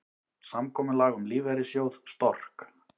Samkomulag um lífeyrissjóð Stork